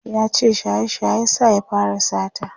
yace shaye shaye ya sa ya fara sata